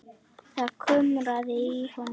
Það kumraði í honum.